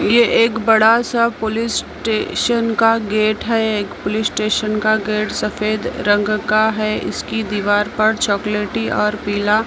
ये एक बड़ा सा पुलिस स्टेशन का गेट है एक पुलिस स्टेशन का गेट सफेद रंग का है इसकी दीवार पर चॉकलेटी और पीला--